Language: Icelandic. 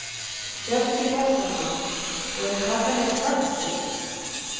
Hjörtur Hjartarson: Og eru krakkarnir spenntir?